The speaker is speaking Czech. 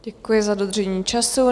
Děkuji za dodržení času.